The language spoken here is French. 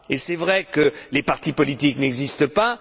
Il est vrai que les partis politiques n'existent pas.